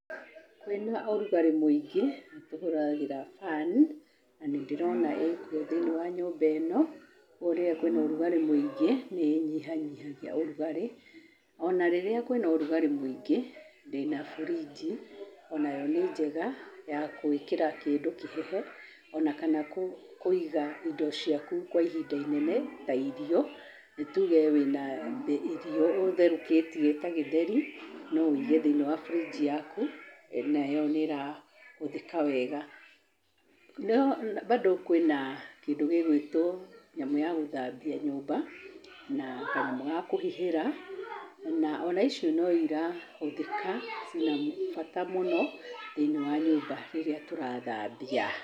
Kwĩna ũrugarĩ mũingĩ, nĩtũhũthagĩra fan na nĩndĩrona ĩkuo thĩinĩ wa nyũmba ĩno, rĩrĩa kwĩna ũrugarĩ mũingĩ, nĩ ĩnyihanyihagia ũrugarĩ. Ona rĩrĩa kwĩna ũrugarĩ mũingĩ, ndĩna burinji, onayo nĩ njega ya gũĩkĩra kĩndũ kĩhehe, ona kana kũiga indo ciaku kwa ihinda inene ta irio, nĩ tuge wĩna irio ũtherũkĩtie ta gĩtheri, no wũige thĩiniĩ wa burinji yaku, nayo nĩ ĩrahũthĩka wega. Mbado kwĩna kĩndũ gĩgwĩtwo nyamũ ya gũthambia nyũmba na kanyamũ ga kũhihĩra, ona icio no irahũthĩka ciĩ na bata mũno thĩiniĩ wa nyũmba rĩrĩa tũrathambia.